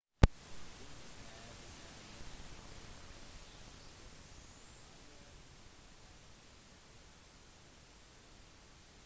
vinking er en vennlig gest som indikerer «hallo» i mange deler av verden